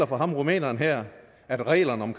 for ham rumæneren her at reglerne om